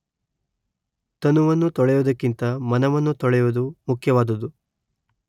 ತನುವನ್ನು ತೊಳೆಯುವುದಕ್ಕಿಂತ ಮನವನ್ನು ತೊಳೆಯುವುದು ಮುಖ್ಯವಾದುದು.